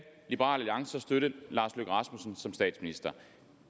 liberal alliance støtte lars løkke rasmussen som statsminister